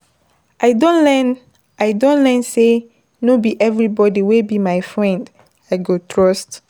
I don learn I don learn sey no be everybodi wey be my friend I go trust.